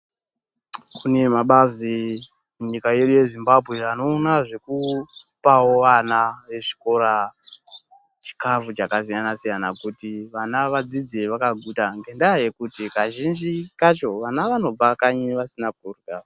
Kunemabazi nyika yino yeZimbabwe banowona zvekupawo wana vezvikora, chikafu chakasiyana siyanakuti vana vadzidze vakaguta, ngendava yekuti kazhinji kacho vana vanobva kanyi vasina kudla.